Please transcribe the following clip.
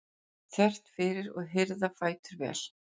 þvert fyrir og hirða fætur vel.